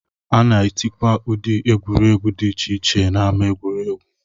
A na-etikwa ụdị egwuregwu dị iche iche n'ámá egwuregwu